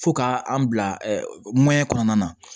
Fo ka an bila ɛ ɛɲɛn kɔnɔna na